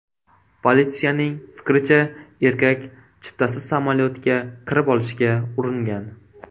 Politsiyaning fikricha, erkak chiptasiz samolyotga kirib olishga uringan.